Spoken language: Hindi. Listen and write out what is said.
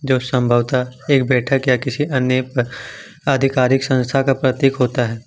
जो संभवत एक बैठक या किसी अन्य आधिकारिक संस्था का प्रतीत होता है ।